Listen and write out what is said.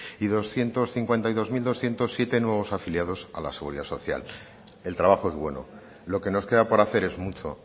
doscientos cincuenta y dos mil doscientos siete nuevos afiliados a la seguridad social el trabajo es bueno lo que nos queda por hacer en mucho